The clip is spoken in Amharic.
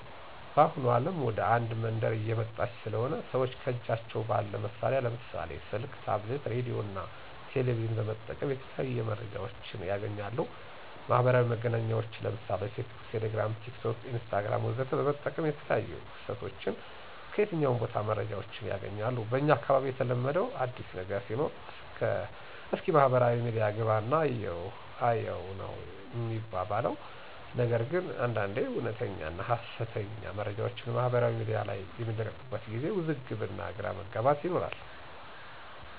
በአሁኑ አለም ወደ አንድ መንደር እየመጣች ስለሆነ ሰወች ከጃቸው ባለ መሳሪያ ለምሳሌ፦ ስልክ፣ ታብሌት፣ ሬዲዮ፣ እና ቴሌቬዥን በመጠቀም የተለያዩ መረጃወችን ያገኛሉ። ማህበራዊ መገናኛወችን ለምሳሌ፦ ፌስቡክ፣ ቴሌግራም፣ ቲክቶክ፣ ኢንስታግራም ወዘተ በመጠቀም የተለያዮ ክስተቶችን ከየትኛውም ቦታ መረጃወችን ያገኛሉ። በኛ አካባቢ የተለመደው አዲስ ነገር ሲኖር እስኪ ማህበራዊ ሚዲያ ገባና እየው እይው ነው ሚባባል ነገር ግን አንዳንዴ እወነተኛና ሀሰተኛ መረጃወች ማህበራዊ ሚዲያ ላይ በሚለቀቁበት ጊዜ ውዝግብ እና ግራ መጋባት ይኖራሉ።